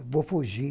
Eu vou fugir.